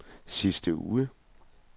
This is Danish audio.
sidste uge